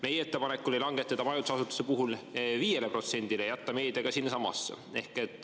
Meie ettepanek oli langetada majutusasutuste puhul 5%‑le ja jätta meedia ka sinnasamasse.